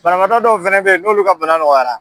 Banabaatɔ dɔw fɛnɛ be yen n'olu ka bana nɔgɔyara